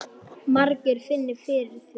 Margir finni fyrir því.